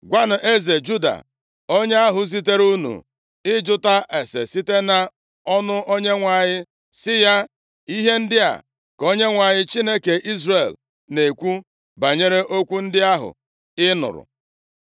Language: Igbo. Gwanụ eze Juda, onye ahụ zitere unu ịjụta ase site nʼọnụ Onyenwe anyị sị ya, ‘Ihe ndị a ka Onyenwe anyị, Chineke Izrel na-ekwu banyere okwu ndị ahụ ị nụrụ.